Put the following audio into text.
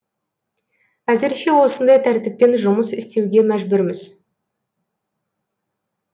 әзірше осындай тәртіппен жұмыс істеуге мәжбүрміз